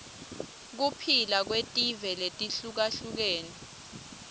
kuphila kwetive letihlukahlukene